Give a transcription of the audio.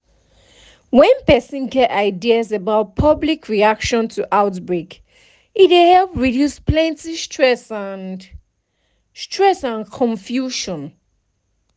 when person get ideas about public reaction to outbreak e dey help reduce plenty stress and stress and confusion